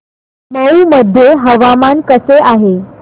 मौ मध्ये हवामान कसे आहे